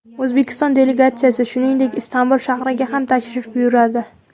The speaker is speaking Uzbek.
O‘zbekiston delegatsiyasi, shuningdek, Istanbul shahriga ham tashrif buyuradi.